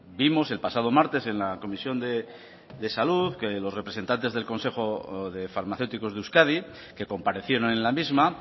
vimos el pasado martes en la comisión de salud que los representantes del consejo de farmacéuticos de euskadi que comparecieron en la misma